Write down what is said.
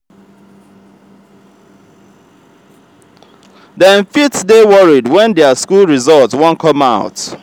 dem fit dey worried when their school result won come out